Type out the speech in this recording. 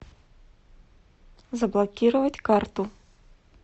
заблокировать карту